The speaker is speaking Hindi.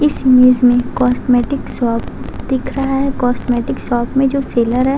इस इमेज में कॉस्मेटिक शॉप दिख रहा है। कॉस्मेटिक शॉप में जो सेलर है --